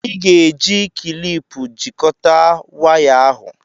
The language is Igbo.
Ị ga-eji kịlịpù jikọta waya ahụ